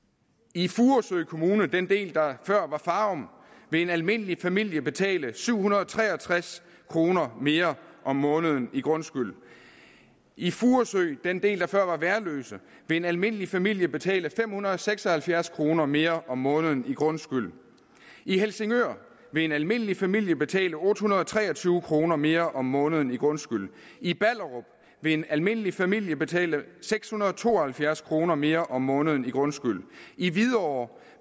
i furesø kommune den del der før var farum vil en almindelig familie betale syv hundrede og tre og tres kroner mere om måneden i grundskyld i furesø den del der før var værløse vil en almindelig familie betale fem hundrede og seks og halvfjerds kroner mere om måneden i grundskyld i helsingør vil en almindelig familie betale otte hundrede og tre og tyve kroner mere om måneden i grundskyld i ballerup vil en almindelig familie betale seks hundrede og to og halvfjerds kroner mere om måneden i grundskyld i hvidovre